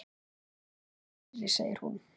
Dæmin eru fleiri, segir hún.